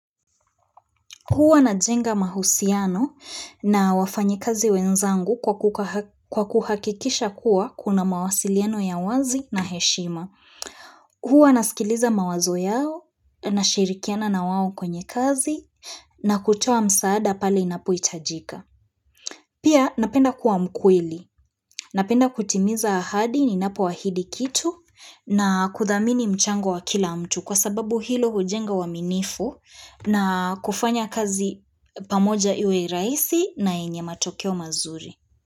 Huwa najenga mahusiano na wafanyikazi wenzangu kwa kuhakikisha kuwa kuna mawasiliano ya wazi na heshima. Huwa nasikiliza mawazo yao nashirikiana na wao kwenye kazi na kutoa msaada pale inapohitajika. Pia napenda kuwa mkweli. Napenda kutimiza ahadi ninapo ahidi kitu na kuthamini mchango wa kila mtu. Kwa sababu hilo hujenga uaminifu na kufanya kazi pamoja iwe rahisi na yenye matokeo mazuri.